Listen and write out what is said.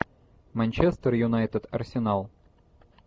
манчестер юнайтед арсенал